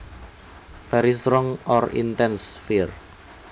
Very strong or intense fear